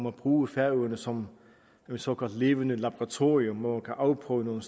at bruge færøerne som et såkaldt levende laboratorium hvor man kan afprøve nogle